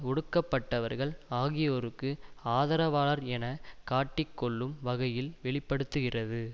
ஒடுக்கப்பட்டவர்கள் ஆகியோருக்கு ஆதரவாளர் என காட்டிக் கொள்ளும் வகையில் வெளி படுத்துகிறது